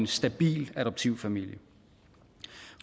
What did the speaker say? stabil adoptivfamilie